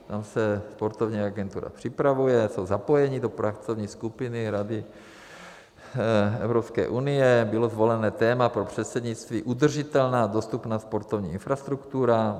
Tam se sportovní agentura připravuje, jsou zapojeni do pracovní skupiny Rady Evropské unie, bylo zvolené téma pro předsednictví - udržitelná dostupná sportovní infrastruktura.